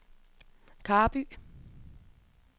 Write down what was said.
Karby